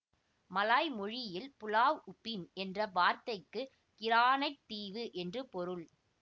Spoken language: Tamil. மலாய் மொழியில் புலாவ் உபின் என்ற வார்த்தைக்கு கிரானைட் தீவு என்று பொருள்